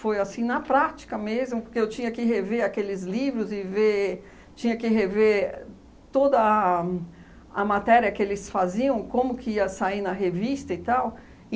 assim, na prática mesmo, porque eu tinha que rever aqueles livros e ver, tinha que rever toda a a matéria que eles faziam, como que ia sair na revista e tal.